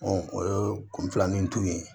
o ye kun filanin tun ye